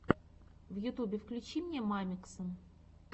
в ютубе включи мне мамикса